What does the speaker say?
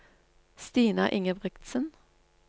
Stina Ingebrigtsen